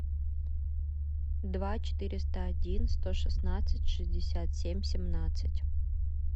два четыреста один сто шестнадцать шестьдесят семь семнадцать